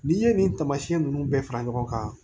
N'i ye nin taamasiɲɛn nunnu bɛɛ fara ɲɔgɔn kan